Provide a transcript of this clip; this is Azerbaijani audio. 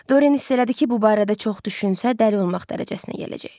Dorien hiss elədi ki, bu barədə çox düşünsə dəli olmaq dərəcəsinə gələcək.